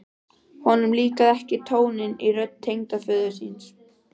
Honum líkaði ekki tónninn í rödd tengdaföður síns.